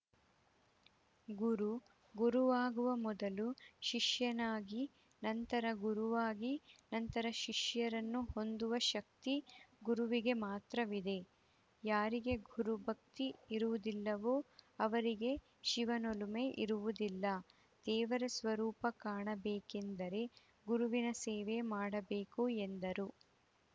ಗುರು ಗುರುವಾಗುವ ಮೊದಲು ಶಿಷ್ಯನಾಗಿ ನಂತರ ಗುರುವಾಗಿ ನಂತರ ಶಿಷ್ಯರನ್ನು ಹೊಂದುವ ಶಕ್ತಿ ಗುರುವಿಗೆ ಮಾತ್ರವಿದೆ ಯಾರಿಗೆ ಗುರು ಭಕ್ತಿ ಇರುವುದಿಲ್ಲವೋ ಅವರಿಗೆ ಶಿವನೊಲುಮೆ ಇರುವುದಿಲ್ಲ ದೇವರ ಸ್ವರೂಪ ಕಾಣಬೇಕೆಂದರೆ ಗುರುವಿನ ಸೇವೆ ಮಾಡಬೇಕು ಎಂದರು